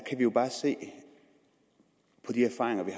jo bare se på de erfaringer vi